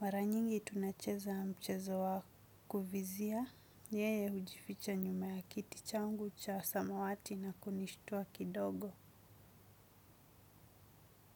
Maranyingi tunacheza mchezo wakuvizia. Yeye hujificha nyuma ya kiti changu cha samawati na kunishutua kidogo.